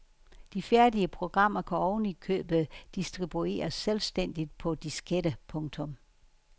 De færdige programmer kan oven i købet distribueres selvstændigt på disketter. punktum